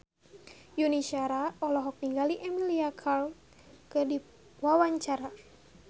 Yuni Shara olohok ningali Emilia Clarke keur diwawancara